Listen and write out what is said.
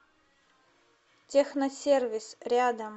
техносервис рядом